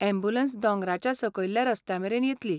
Ambulance दोंगराच्या सकयल्ल्या रस्त्यामेरेन येतली.